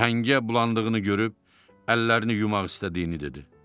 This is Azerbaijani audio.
Əhəngə bulandığını görüb əllərini yumaq istədiyini dedi.